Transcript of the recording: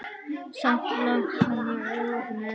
Samt langar mig með.